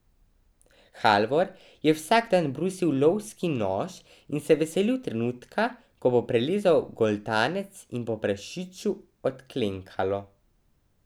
Halvor je vsak dan brusil lovski nož in se veselil trenutka, ko bo prerezal goltanec in bo prašiču odklenkalo.